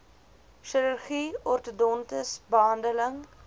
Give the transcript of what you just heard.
chirurgie ortodontiese behandeling